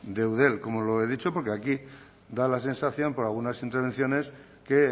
de eudel como lo he dicho porque aquí da la sensación por algunas intervenciones que